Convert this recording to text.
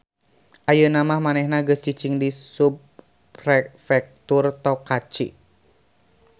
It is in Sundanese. Ayeuna mah manehna geus cicing di subprefektur Tokachi